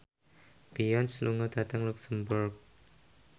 Beyonce lunga dhateng luxemburg